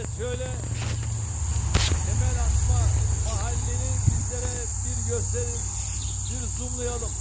Evet, söylə, təməl atma mahalli bizlərə bir göstərin, bir zoomlayalım.